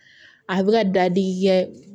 A bɛ ka dadigi kɛ